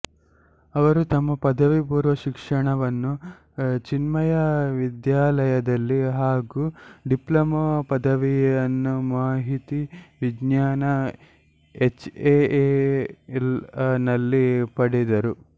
ಅವರು ತಮ್ಮ ಪದವಿ ಪೂರ್ವ ಶಿಕ್ಷಣವನ್ನು ಚಿನ್ಮಯ ವಿದ್ಯಾಲ್ಯದಲ್ಲಿ ಹಾಗು ಡಿಪ್ಲೊಮಾ ಪದವಿಯನ್ನುಮಾಹಿತಿ ವಿಜ್ಞಾನ ಎಚ್ಏಎಲ್ ನಲ್ಲಿ ಪಡೆದರು